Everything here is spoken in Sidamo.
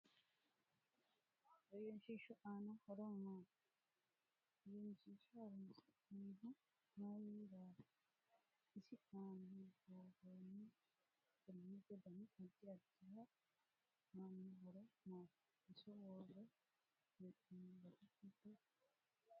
Ehenshiishu aano horo maati egenshiisha horoonsinanihu mayiirati isi aana buurooni qalamete dani addi addihu aano horo maati iso worre heenooni base hiitote